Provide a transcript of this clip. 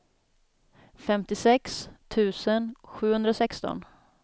femtiosex tusen sjuhundrasexton